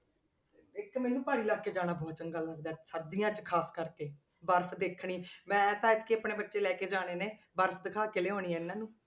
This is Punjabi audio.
ਇੱਕ ਮੈਨੂੰ ਪਹਾੜੀ ਇਲਾਕੇ ਜਾਣਾ ਬਹੁਤ ਚੰਗਾ ਲੱਗਦਾ ਹੈ, ਸਰਦੀਆਂ 'ਚ ਖ਼ਾਸ ਕਰਕੇ ਬਰਫ਼ ਦੇਖਣੀ ਮੈਂ ਤਾਂ ਐਤਕੀ ਆਪਣੇ ਬੱਚੇ ਲੈ ਕੇ ਜਾਣੇ ਨੇ ਬਰਫ਼ ਦਿਖਾ ਕੇ ਲਿਆਉਣੀ ਹੈ ਇਹਨਾਂ ਨੂੰ।